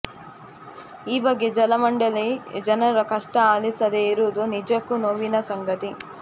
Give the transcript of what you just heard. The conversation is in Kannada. ಈ ಬಗ್ಗೆ ಜಲ ಮಂಡಳಿ ಜನರ ಕಷ್ಟ ಆಲಿಸದೇ ಇರುವುದು ನಿಜಕ್ಕೂ ನೋವಿನ ಸಂಗತಿ